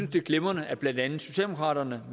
det er glimrende at blandt andet socialdemokraterne